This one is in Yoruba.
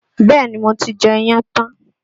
Bẹ́ẹ̀ni, mo ti jẹ iyán tán